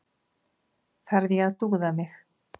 Þarf ég að dúða mig?